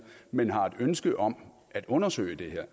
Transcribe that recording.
men har et ønske om at undersøge det her